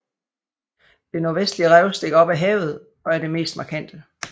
Det nordvestlige rev stikker op af havet og er det mest markante